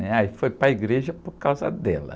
né? Aí foi para a igreja por causa dela.